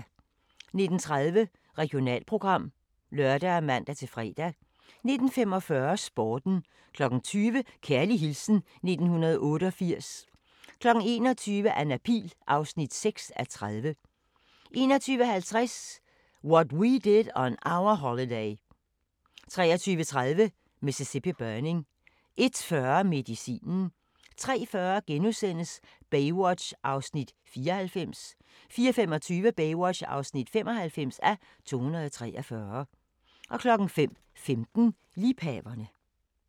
19:30: Regionalprogram (lør og man-fre) 19:45: Sporten 20:00: Kærlig hilsen 1988 21:00: Anna Pihl (6:30) 21:50: What We Did On Our Holiday 23:30: Mississippi Burning 01:40: Medicinen 03:40: Baywatch (94:243)* 04:25: Baywatch (95:243)* 05:15: Liebhaverne